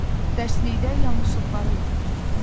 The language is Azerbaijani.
Dərslikdə yanlışlıqlara yol verilib.